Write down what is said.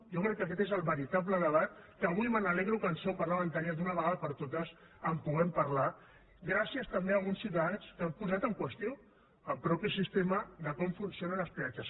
jo crec que aquest és el veritable debat que avui m’alegro que en seu parlamentària d’una vegada per totes en puguem parlar gràcies també a alguns ciutadans que han posat en qüestió el mateix sistema de com funcionen els peatges